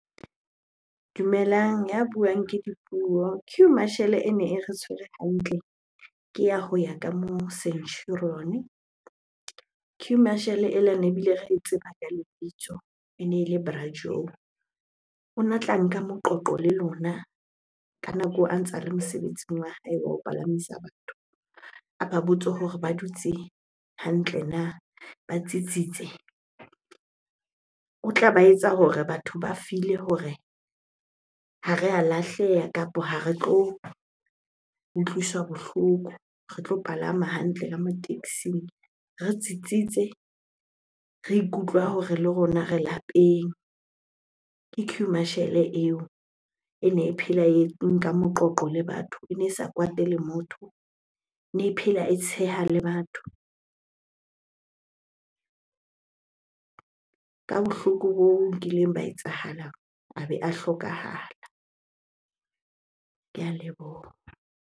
Dumelang, ya buang ke Dipuo. Queue marshal ene e re tshwere hantle ke ya ho ya ka moo Centurion. Queue marshal ela ne bile re e tseba ka lebitso, e ne ele Bra . O na tla nka moqoqo le lona ka nako a ntse a le mosebetsing wa hae wa ho palamisa batho. Aba botse hore ba dutse hantle na? ba tsitsitse. O tla ba etsa hore batho ba feel-e hore ha re a lahleha kapo ha re tlo utlwiswa bohloko. Re tlo palama hantle ka mo taxing, re tsitsitse, re ikutlwa hore le rona re lapeng. Ke queue marshal eo ene e phela e nka moqoqo le batho, ene e sa kwate le motho, ene phela e tsheha le batho. Ka bohloko boo nkileng ba etsahalang a be a hlokahala. Ke a leboha.